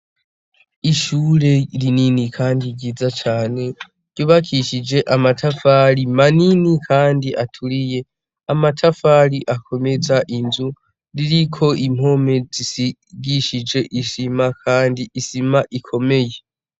Ishure rinini Kandi ryiza cane, ryubakishije amatafari manini kandi aturiye. Amatafari akomeza inzu, ririko impome z'isigishije isima, kandi isima ikomeye.